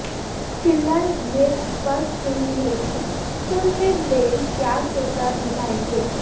फिलहाल यह स्पष्ट नहीं है कि फिल्म में बेल क्या किरदार निभाएंगे